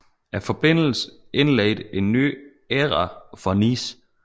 Forbindelsen indledte en ny æra for Nice